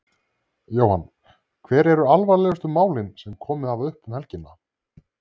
Jóhann: Hver eru alvarlegustu málin sem komið hafa upp um helgina?